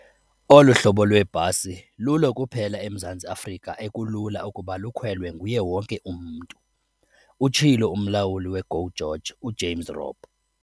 "Olu hlobo lweebhasi lulo kuphela eMzantsi Afrika ekulula ukuba lukhwelwe nguye wonke umntu," utshilo umlawuli we-GO GEORGE uJames Robb.